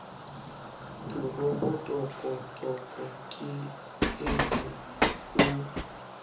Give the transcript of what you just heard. toropo tokotoko ke eo o